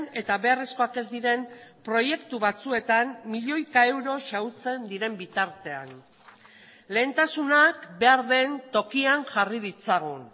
eta beharrezkoak ez diren proiektu batzuetan milioika euro xahutzen diren bitartean lehentasunak behar den tokian jarri ditzagun